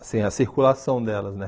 Assim, a circulação delas, né?